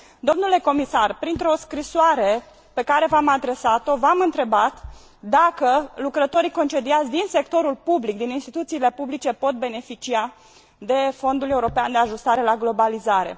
Domnule Comisar, printr o scrisoare pe care v am adresat o, v am întrebat dacă lucrătorii concediați din sectorul public, din instituțiile publice pot beneficia de Fondul european de ajustare la globalizare.